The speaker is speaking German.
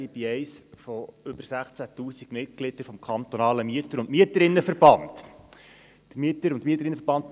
Ich bin eines von über 16 000 Mitgliedern des Mieterinnen- und Mieterverbands Kanton Bern (MV Bern).